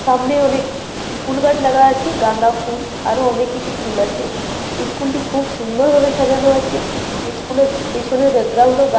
সামনে অনেক ফুল গাছ লাগা আছে গান্দা ফুল আরো অনেক কিছু ফুল আছে ইস্কুল টি খুব সুন্দর ভাবে সাজানো আছে ইস্কুল এর পেছনের ব্যাকগ্রাউন্ড ও গা--